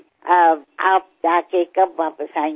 तुम्ही जाऊन केव्हा परत येणार